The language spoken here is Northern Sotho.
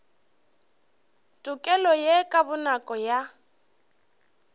tokelo ye ka bonako ya